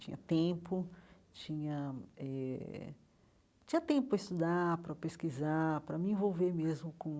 Tinha tempo, tinha eh tinha tempo para estudar, para pesquisar, para me envolver mesmo com